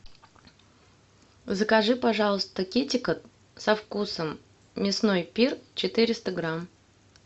закажи пожалуйста китекет со вкусом мясной пир четыреста грамм